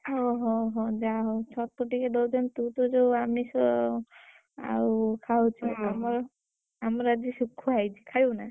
ଓହୋ ହୋ ଯାହା ହଉ ଛତୁ ଟିକେ ଦଉଛନ୍ତି ତୁ ତ ଯୋଉ ଆମିଷ, ଆଉ ଖାଉଛୁ ଆମର, ଆମର ଆଜି ଶୁଖୁଆ ହେଇଛି ଖାଇବୁ ନା?